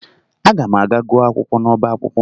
Aga m aga gụọ akwụkwọ n'ọba akwụkwọ